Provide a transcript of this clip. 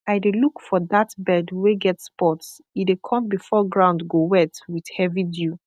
i dey look for that bird wey get spots e dey come before ground go wet with heavy dew